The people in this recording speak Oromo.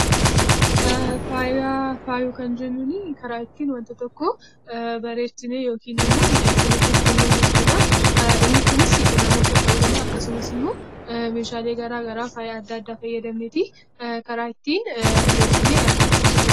Faaya kan jennuunii karaa ittiin wanti tokko bareechinee yookiin immoo miidhagsineeti ittiin mul'isnu dha. Inni kunisii namoota ta'uu danda'aa akkasumas immoo meeshaalee garaa garaa faaya fayyadamneeti karaa ittiin bareechinee argamsiisnu dha.